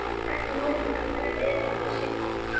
Hún drakk morgunkaffi niðri við Signu.